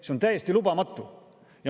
See on täiesti lubamatu!